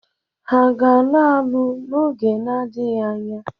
Ha ga-alụ alu n'oge na-adịghị anya?